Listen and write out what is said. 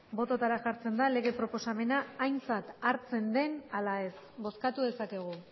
bototara jartzen da lege proposamena aintzat hartzen den ala ez bozkatu dezakegu